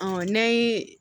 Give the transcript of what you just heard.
n'an ye